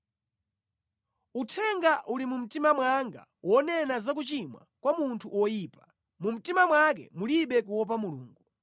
Uthenga uli mu mtima mwanga wonena za kuchimwa kwa munthu woyipa: Mu mtima mwake mulibe kuopa Mulungu.